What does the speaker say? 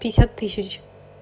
пятьдесят тысяч